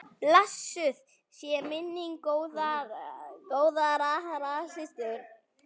Blessuð sé minning góðrar systur.